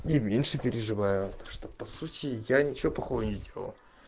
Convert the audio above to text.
и меньше переживаю что по сути я ничего плохого не сделал